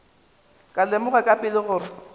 ka lemoga ka pela gore